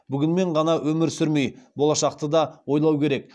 бүгінмен ғана өмір сүрмей болашақты да ойлау керек